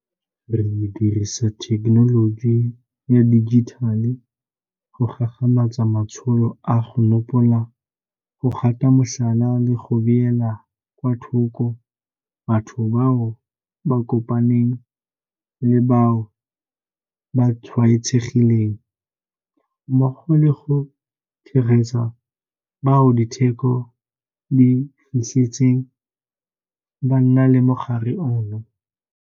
Re dirisa thekenoloji ya dijithale go gagamatsa matsholo a go nopola, go gata motlhala le go beela kwa thoko batho bao ba kopaneng le bao ba tshwaetsegileng, mmogo le go tshegetsa bao diteko di fitlhetseng ba na le mogare ono.